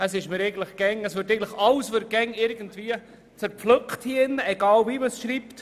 Es wird alles hier drin zerpflückt, egal wie man es nennt.